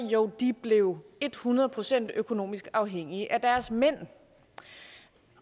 jo de blev et hundrede procent økonomisk afhængige af deres mænd